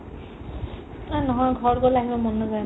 এহ্, নহয় ঘৰ গ'লে আহিব মন নেযায় ন ?